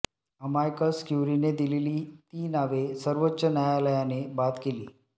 amicus क्युरीने दिलेली ती नावे सर्वोच्च न्यायालयाने बाद केली